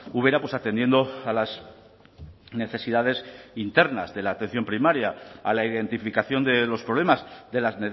ubera pues atendiendo a las necesidades internas de la atención primaria a la identificación de los problemas de las